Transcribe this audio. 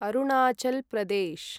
Arunachal Pradesh